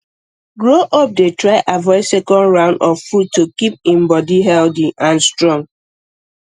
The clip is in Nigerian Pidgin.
grow up dey try avoid second round of food to keep um body healthy um and strong